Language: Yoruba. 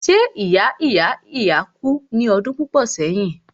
ṣé ìya ìya ìya kú ní ọdún púpọ̀ sẹ́yìn?